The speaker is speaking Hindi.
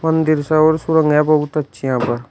मंदिर सा और सुरंग है बहुत अच्छी यहां पर।